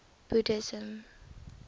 buddhism